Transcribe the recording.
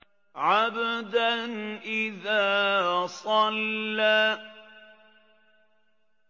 عَبْدًا إِذَا صَلَّىٰ